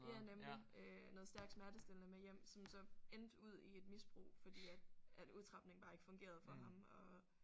Ja nemlig øh noget stærk smertestillende med hjem som så endte ud i et misbrug fordi at at udtrapningen bare ikke fungerede for ham og